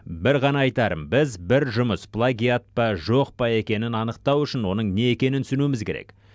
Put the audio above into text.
бір ғана айтарым біз бір жұмыс плагиат па жоқ па екенін анықтау үшін оның не екенін түсінуіміз керек